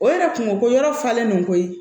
O yɛrɛ kun ko yɔrɔ falenlen do koyi